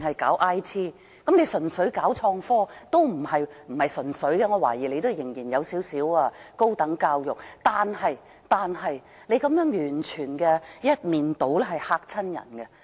我懷疑不是純粹搞創科工業，仍然還有小量的高等教育成分，但是，這種完全一面倒的態度甚是嚇人。